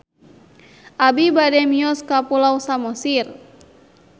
Abi bade mios ka Pulau Samosir